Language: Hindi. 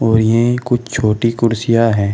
ये कुछ छोटी कुर्सियां है।